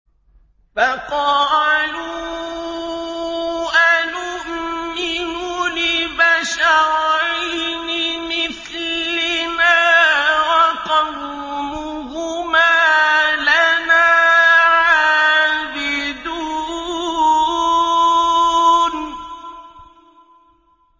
فَقَالُوا أَنُؤْمِنُ لِبَشَرَيْنِ مِثْلِنَا وَقَوْمُهُمَا لَنَا عَابِدُونَ